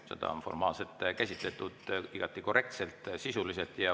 Seda on formaalselt käsitletud igati korrektselt, sisuliselt.